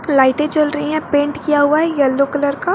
लाइटें जल रही है पेंट किया हुआ है यलो कलर का।